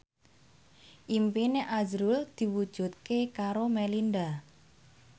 impine azrul diwujudke karo Melinda